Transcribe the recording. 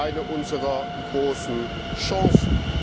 eine unserer großen Chancen.